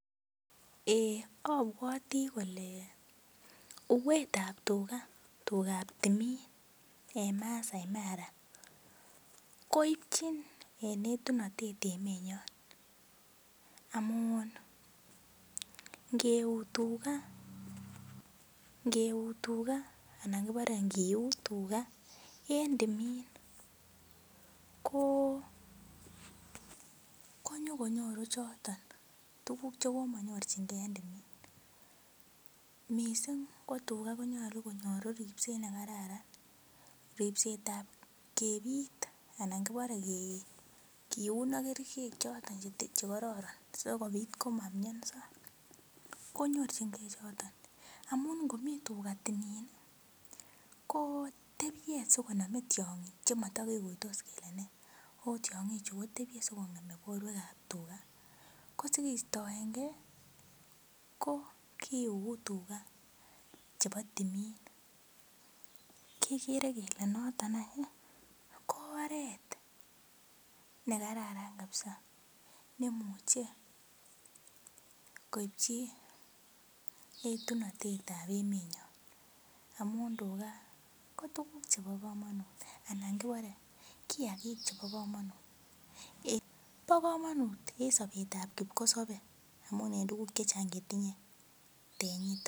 Eeeh apwati kole uuetab tuga, tugap timin en Maasai Mara koipchin en etunatet emenyon amun ngeuu tuga anan kipare ngiuut tuga en timin ko nyuko nyorun choton tuguk che ko manyorchingei en timin. Missing' ko tuga ko nyalu konyoru ripset ne kararan. Ripset ap kepit anan ki pare keiun ak kerichek chotok che kararan si kopit koma mianso konyorchingei chiton amun ngomi tuga timin i ko tepie si koname tiang'ik che mata kikuitos kole nee ako tiang'ichu kotepie asiko ng'eme porwekap tuga. Ko si keistaen gei ko kiuu tuga chepo timin. Kikere kele noton any oret ne kararan kapsa si koit koipchi etunatet ap emenyon amun tuga ko tuguk chepo kamanut anan kipare kiakiik chepo kamanut. Pa kamanut en sapet ap kipkosope amun en tuguk che chang' che tinye tenyitan.